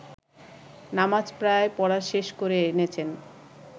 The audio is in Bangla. নামাজ প্রায় পড়া শেষ করে এনেছেন